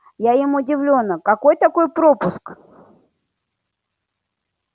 я им удивлённо какой такой пропуск